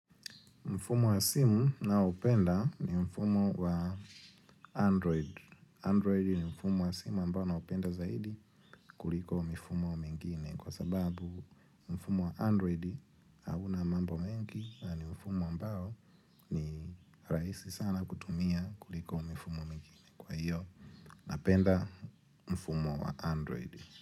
Mfumo wa simu naopenda ni mfumo wa Android. Android ni mfumo wa simu ambao naupenda zaidi kuliko mfumo mwingine. Kwa sababu mfumo wa Android hauna mambo mengi na mfumo ambao ni rahisi sana kutumia kuliko mfumo mwingine. Kwa hiyo, napenda mfumo wa Android.